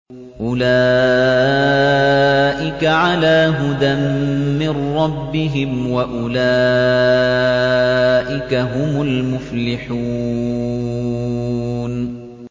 أُولَٰئِكَ عَلَىٰ هُدًى مِّن رَّبِّهِمْ ۖ وَأُولَٰئِكَ هُمُ الْمُفْلِحُونَ